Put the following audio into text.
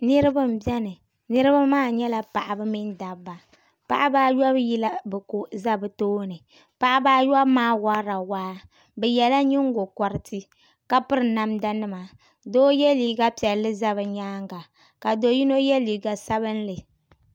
Niraba n biɛni niraba maa nyɛla paɣaba mini dabba paɣaba ayobu yila bi ko ʒɛ bi tooni paɣaba ayobu maa worila waa bi yɛla nyingokoriti ka piri namda nima doo yɛ liiga piɛlli ʒɛ bi nyaanga ka piri namda sabinli